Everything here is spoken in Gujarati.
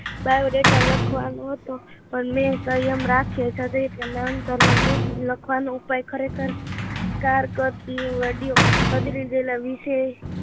Biodata લખવાનું હોત તો પણ મેં સંયમ રાખ્યોછત્રી પર નામ સરનામું લખવાનો ઉપાય ખરેખર કારકદીવડ્યો